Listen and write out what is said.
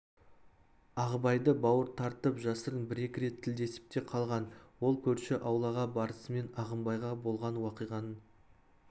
ағыбайды бауыр тартып жасырын бір-екі рет тілдесіп те қалған ол көрші аулаға барысымен ағыбайға болған уақиғаның